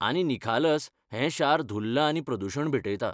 आनी निखालस, हें शार धुल्ल आनी प्रदुशण भेटयता.